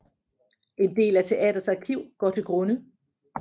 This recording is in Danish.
En del af teatrets arkiv går til grunde